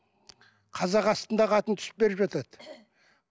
қазақ астындағы атын түсіп беріп жатады